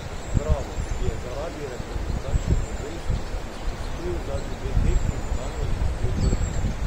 Bravo, ki je zaradi reprezentančnih obvez izpustil zadnji dve tekmi, bo danes gostil Brda.